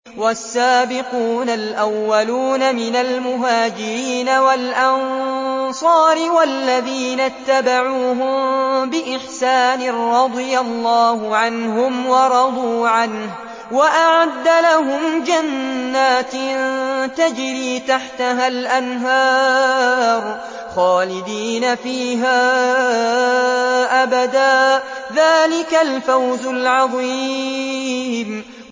وَالسَّابِقُونَ الْأَوَّلُونَ مِنَ الْمُهَاجِرِينَ وَالْأَنصَارِ وَالَّذِينَ اتَّبَعُوهُم بِإِحْسَانٍ رَّضِيَ اللَّهُ عَنْهُمْ وَرَضُوا عَنْهُ وَأَعَدَّ لَهُمْ جَنَّاتٍ تَجْرِي تَحْتَهَا الْأَنْهَارُ خَالِدِينَ فِيهَا أَبَدًا ۚ ذَٰلِكَ الْفَوْزُ الْعَظِيمُ